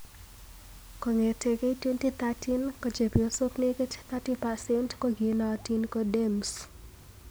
Kong'etei 2013 ko Chepyosok nekit 30% kokinootin ko Dames